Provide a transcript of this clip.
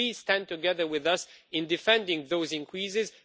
Please stand together with us in defending the increases.